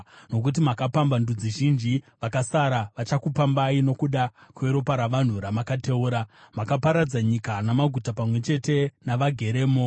Nokuti makapamba ndudzi zhinji, vakasara vachakupambai, nokuda kweropa ravanhu ramakateura; makaparadza nyika namaguta pamwe chete navageremo.